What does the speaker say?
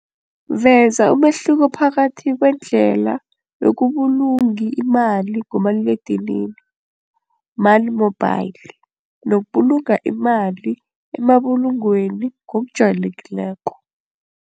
Veza umehluko phakathi kwendlela yokubulungi imali ngomaliledinini money mobile nokubulunga imali emabulungweni ngokujayelekileko.